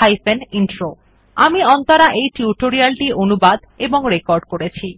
hyphen intro আমি অন্তরা এই tutorial টি অনুবাদ এবং রেকর্ড করেছি